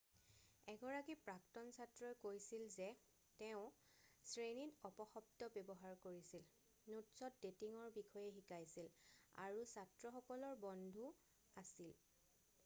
এগৰাকী প্ৰাক্তন ছাত্ৰই কৈছিল যে তেওঁ 'শ্ৰেণীত অপশব্দ ব্যৱহাৰ কৰিছিল নোটছত ডেটিঙৰ বিষয়ে শিকাইছিল আৰু ছাত্ৰসকলৰ বন্ধু আছিল।'